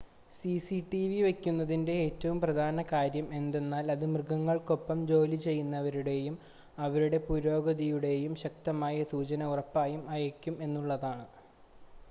CCTV വെക്കുന്നതിൻ്റെ ഏറ്റവും പ്രധാന കാര്യം എന്തെന്നാൽ അത് മൃഗങ്ങൾക്കൊപ്പം ജോലിചെയ്യുന്നവരുടേയും അവരുടെ പുരോഗതിയുടേയും ശക്തമായ സൂചന ഉറപ്പായും അയയ്ക്കും എന്നുള്ളതാണ്